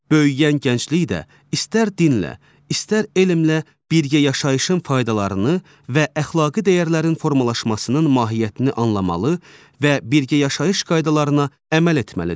Böyüyən gənclik də istər dinlə, istər elmlə birgə yaşayışın faydalarını və əxlaqi dəyərlərin formalaşmasının mahiyyətini anlamalı və birgə yaşayış qaydalarına əməl etməlidir.